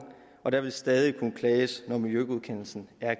og der vil stadig kunne klages når miljøgodkendelsen er